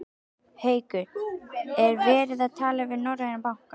Haukur: Er verið að tala við norræna banka?